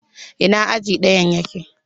Ina aji ɗayan yake?